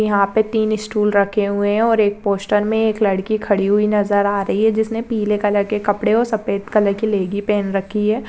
यहा पे तीन अ स्टूल रखे हुए है और एक पोस्टर में एक लड़की खडी हुई नजर आ रही है जिसने पीले कलर के कपड़े और सफ़ेद कलर की लेगी पहन रखी है।